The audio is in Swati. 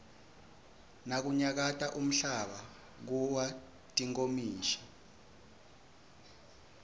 nakunyakata umhlaba kuwa tinkomishi